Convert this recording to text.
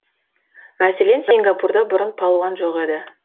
мәселен сингапурда бұрын палуан жоқ еді